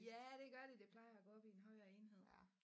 Ja det gør det det plejer at gå op i en højere enhed